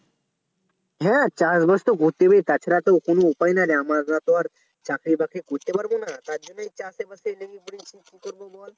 হ্যাঁ চাষবাস তো করতেই হবে তাছাড়া তো কোনো উপাই নাইরে আমরাতো আর তোমার চাকরি বাকরি করতে পারবো না তারজন্যেই চাষবাসে লেগে পড়েছি কি করবো বল